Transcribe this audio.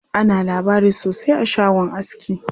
Ana labari sosai a shagon aski.